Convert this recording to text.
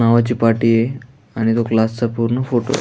नावाची पाटीय आणि तो क्लास चा पूर्ण फोटो --